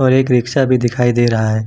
और एक रिक्शा भी दिखाई दे रहा है।